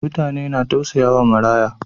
Mutane na tausayawa maraya.